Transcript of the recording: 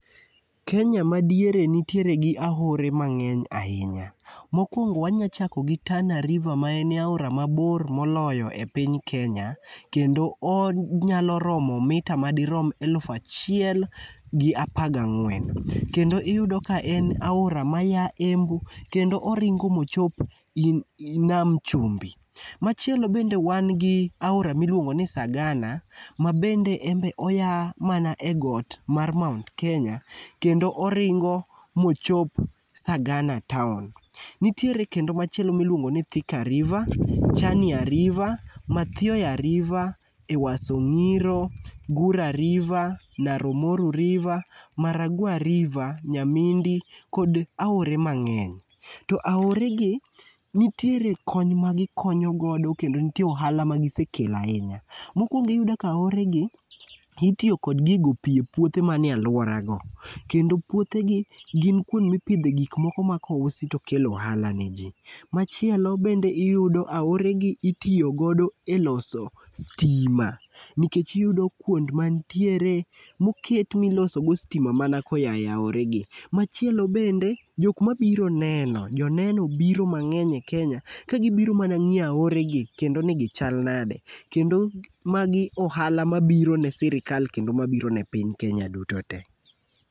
Kenya ma diere nitiere gi aore mangény ahinya. Mokwongo wanya chako gi Tana River ma en e aora ma bor moloyo e piny Kenya. Kendo onyalo romo mita madirom aluf achiel gi apar gi ang'wen. Kendo iyudo ka en aora maya Embu, kendo oringo ma ochop nam chumbi. Machielo bende wan gi aora ma iluongo ni Sagana. Ma bende enbe oya mana e got mar mount kenya kendo oringo ma ochop Sagana town. Nitiere kendo machielo ma iluongo ni Thika river, chania river, mathioya river, Ewaso ngíro, Gura river, Naro Moru river, Maragua river, Nyamindi kod aore mangény. To aore gi, nitiere kony ma gikonyo godo kendo nitie ohala ma gisekelo ahinya. Mokwongo iyudo ka aore gi, itiyo kod gi go pi e puothe manie alwora go. Kendo puothe gi gin kuonde ma ipidhe gik moko ma kousi to kelo ohala ne ji. Machielo kendo iyudo aore gi itiyo godo e loso stima. Nikech iyudo kuond mantiere, moket miloso godo stima mana koya e aore gi. Machielo bende, jok mabiro neno, joneno biro mangény e Kenya, ka gibiro mana ngíyo aore gi kendo ni gichal nade. Kendo magi ohala ma biro ne sirkal, kendo mabiro ne piny Kenya duto te.